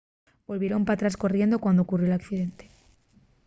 volvieron p'atrás corriendo cuando ocurrió l’accidente